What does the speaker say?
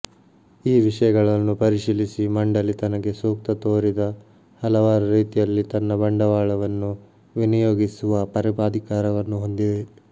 ಈ ವಿಷಯಗಳನ್ನು ಪರಿಶೀಲಿಸಿ ಮಂಡಲಿ ತನಗೆ ಸೂಕ್ತ ತೋರಿದ ಹಲವಾರು ರೀತಿಯಲ್ಲಿ ತನ್ನ ಬಂಡವಾಳವನ್ನು ವಿನಿಯೋಗಿಸುವ ಪರಮಾಧಿಕಾರವನ್ನು ಹೊಂದಿದೆ